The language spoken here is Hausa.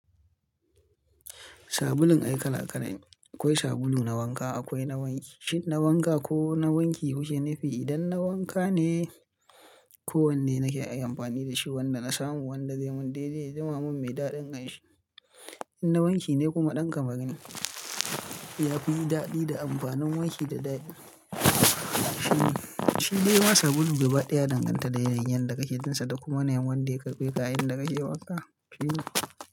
Sabulun ai kala kala ne akwai sabulu na wanka akwai na wanki. Shin na wanka ko na wanki kuke nu fi? Idan na wanka ne ko wanne nake iya amfani da shi wanda na samu wanda zai mun daidai, zama mun mai daɗin kanshi. In na wanki ne kuma ɗan kamaru ne yafi yi daɗi da amfanin wanki da dadi. Shi dai ma sabulu gaba ɗaya ya danganta da yanayin yadda da ka ke jinsa da kuma yanayin wanda ya karbe ka a yayin da ke wanka.